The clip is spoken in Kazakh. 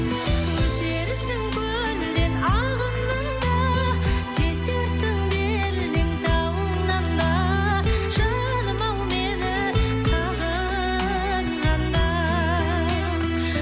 өтерсің көлден ағыннан да жетерсің белден тауыңнан да жаным ау мені сағынғанда